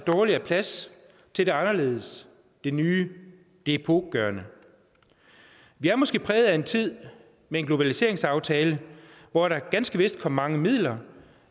dårlig er plads til det anderledes det nye det epokegørende vi er måske præget af en tid med en globaliseringsaftale hvor der ganske vist kom mange midler